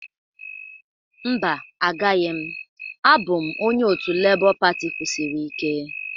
Mba, agaghị m. Abụ m onye otu Labour pati kwusiri ike.